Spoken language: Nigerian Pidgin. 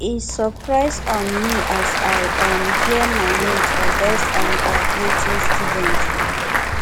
e surprise um me as i um hear my name for best um graduating student o